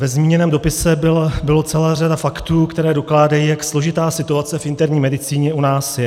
Ve zmíněném dopise byla celá řada faktů, které dokládají, jak složitá situace v interní medicíně u nás je.